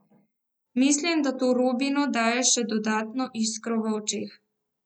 Mislim, da to Robinu daje še dodatno iskro v očeh.